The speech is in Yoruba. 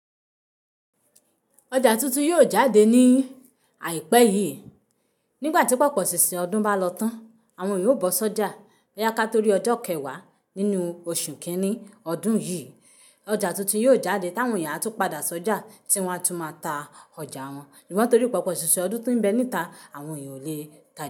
Ọjà tuntun yóò jáde ní àìpẹ́ yìí. Nígbà tí pọ̀pọ̀ ṣíṣe ọdún bá lọ tán, àwọn èèyàn ó bọ́ sójà. Bo yá ká torí ọjọ́ kẹwàá nínú oṣù kìíní ọdún yìí, ọjà tuntun yóò jáde táwọn èèyán tún padà sójà tí wọ́n á tún máa ta ọjà wọn. Ṣugbọn torí pọ̀pọ̀ ṣíṣin ọdún tí ń bẹ níta, àwọn èèyàn ò le.